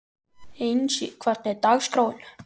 Einsi, hvernig er dagskráin?